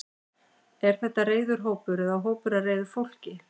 Er þetta reiður hópur eða hópur af reiðu fólki?